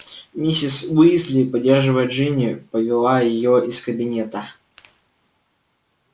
миссис уизли поддерживая джинни повела её из кабинета